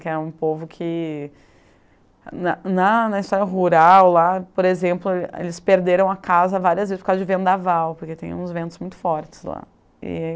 Que é um povo que... Na na na história rural, lá, por exemplo, ele eles perderam a casa várias vezes por causa de vento naval, porque tem uns ventos muito fortes lá. E